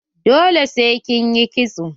Dole sai kin yi kitso.